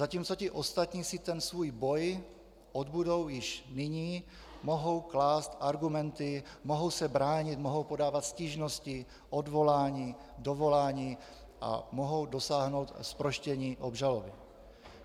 Zatímco ti ostatní si ten svůj boj odbudou již nyní, mohou klást argumenty, mohou se bránit, mohou podávat stížnosti, odvolání, dovolání a mohou dosáhnout zproštění obžaloby.